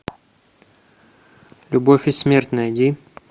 любовь и смерть найди